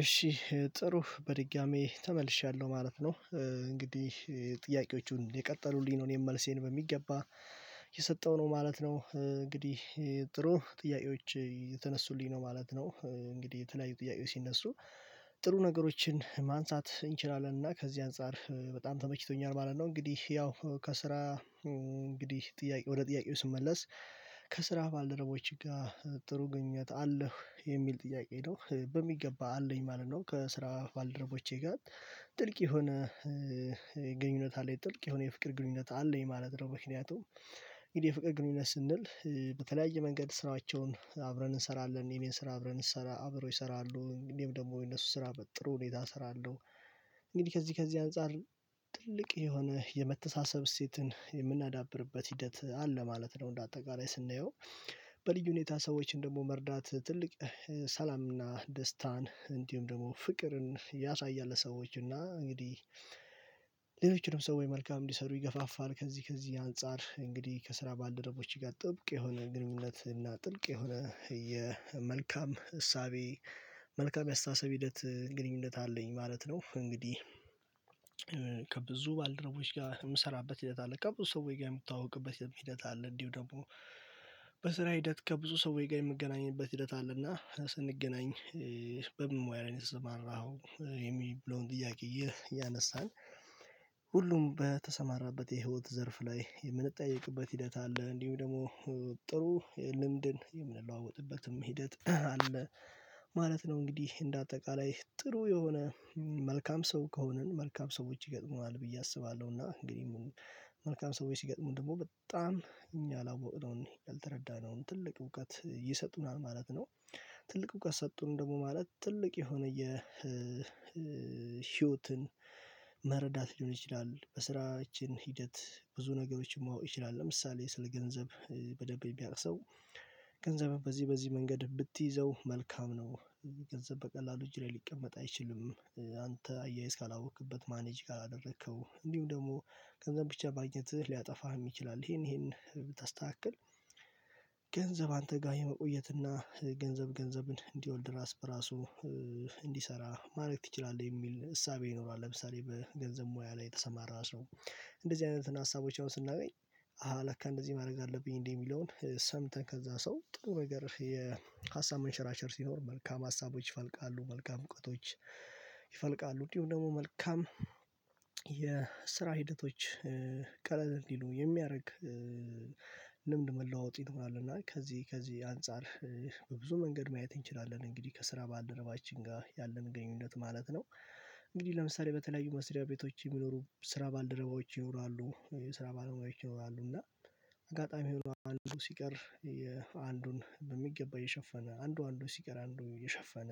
እሺ ጥሩ በድጋሚ ተመልሻለሁ ማለት ነው እንግዲህ ጥያቄዎቹን የቀጠሉልኝ ነው እኔም መልሴን በሚገባ የሰጠው ነው ማለት ነው። እንግዲህ ጥሩ ጥያቄዎች የተነሱልኝ ነው ማለት ነው እንግዲህ የተለያዩ ጥያቄዎች ሲነሱ ጥሩ ነገሮችን ማንሳት እንችላለን እና ከዚህ አንፃር በጣም ተመችቶኛል ማለት ነው። እንግዲህ ያው ከስራ እንግዲህ ጥያቄ ወደ ጥያቄው ስመለስ ከስራህ ባልደረቦችህ ጋር ጥሩ ግኝት አለው የሚል ጥያቄ ነው በሚገባ አለኝ ማለት ነው። ከስራው ባልደረቦቼ ጋር ጥልቅ የሆነ ግንኙነት አለኝ ጥልቅ የሆነ የፍቅር ግንኙነት አለ ማለት ነው። ምክንያቱም እንግዲህ የፍቅር ግንኙነት ስንል በተለያየ መንገድ ስራቸውን አብረን እንሰራለን የቤት ስራ አብረን እሰራ አብረው ይሰራሉ እንግዲሁም ደግሞ የነሱ ስራ ጥሩ ሁኔታ እሰራለሁ እንግዲህ ከዚህ ከዚህ አንፃር ትልቅ የሆነ የመተሳሰብ ስቴትን የምናዳብርበት ሂደት አለ ማለት ነው። እንደ አጠቃላይ ስናየው በልዩ ሁኔታ ሰዎችን ደግሞ መርዳት ትልቅ ሰላምና ደስታን እንዲሁም ደግሞ ፍቅርን ያሳያል ለሰዎች እና እንግዲህ ሌሎችንም ሰው ወይ መልካም እንዲሰሩ ይገፋፋል። ከዚህ ከዚህ አንፃር እንግዲህ ከስራ ባልደረቦች ጋር ጥብቅ የሆነ ግንኙነት እና ጥልቅ የሆነ የመልካም እሳቤ መልካም ያስተሳሰብ ሂደት ግንኙነት አለኝ ማለት ነው። እንግዲህ ከብዙ ባልደረቦች ጋር የምሰራበት ሂደት አለ ከብዙ ሰው ጋር የምታውቅበት ሂደት አለ። እንዲሁ ደግሞ በስራ ሂደት ከብዙ ሰዎች ጋር የምገናኘበት ሂደት አለና ስንገናኝ በምን ሙያ ላይ ነው የሰማራኸው የሚለውን ጥያቄ ያነሳን ሁሉም በተሰማራበት የህይወት ዘርፍ ላይ የምንጠየቅበት ሂደት አለ። እንዲሁም ደግሞ ጥሩ ልምድን የምንለዋወጥበትም ሂደት አለ ማለት ነው። እንግዲህ እንደ አጠቃላይ ጥሩ የሆነ መልካም ሰው ከሆነን መልካም ሰዎች ይገጥሙናል ብዬ አስባለሁና እንግዲህ መልካም ሰዎች ሲገጥሙን ደግሞ በጣም እኛ አላወቅነውን ያልተረዳነውን ትልቅ እውቀት ይሰጡናል ማለት ነው። ትልቅ እውቀት ሰጡን ደግሞ ማለት ትልቅ የሆነ የህይወትን መረዳት ሊሆን ይችላል። በስራችን ሂደት ብዙ ነገሮችን ማወቅ ይችላል ለምሳሌ ስለ ገንዘብ በደብይ ቢያቅሰው ገንዘብህ በዚህ በዚህ መንገድ ብትይዘው መልካም ነው። ገንዘብ በቀላሉ ጅሬ ሊቀመጥ አይችልም አንተ አያያዝ ካላወቅክበት ማኔጅ ካላደረከው እንዲሁ ደግሞ ከዛ ብቻ ማግኘት ሊያጠፋህ ይችላል። ይሄን ይሄን ብታስተካክል ገንዘብ አንተ ጋር የመቆየት እና ገንዘብ ገንዘብን እንዲወልድ ራስ በራሱ እንዲሰራ ማድረግ ትችላለህ የሚል እሳቤ ይኖራል። ለምሳሌ በገንዘብ ሙያ ላይ የተሰማራ ሰው እንደዚህ አይነት ሀሳቦች አሁን ስናገኝ አሃ ለካ እንደዚህ ማድረግ አለብኝ እንዴ የሚለውን ሰምተን ከዛ ሰው ጥሩ ነገር የሀሳብ መንሸራሸር ሲኖር መልካም ሀሳቦች ይፈልቃሉ መልካም እውቀቶች ይፈልቃሉ እንዲሁም ደግሞ መልካም የስራ ሂደቶች ቀለል ይሉ የሚያደርግ ልምድ መለዋወጥ ይኖራል። እና ከዚህ አንፃር በብዙ መንገድ ማየት እንችላለን እንግዲህ ከስራ ባልደረባችን ጋር ያለመገኘት ማለት ነው። እንግዲህ ለምሳሌ በተለያዩ መስሪያ ቤቶች የሚኖሩ ስራ ባልደረባዎች ይኖራሉ ስራ ባልደረባዎች ይኖራሉ እና አጋጣሚ ይሆናሉ ሲቀር አንዱን በሚገባ የሸፈነ አንዱ አንዱ ሲቀር አንዱ የሸፈነ